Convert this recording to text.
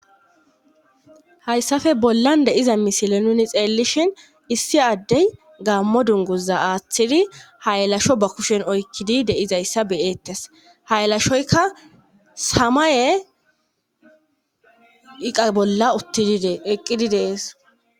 hayssafe bollan deiza misile nuni xeellishhin issi addey gaammo dunguza aaththidi hayalasho ba kushen oykkidi deizayssa beyeettes hayalashoyka samaye iqa bolla utteqqidi dees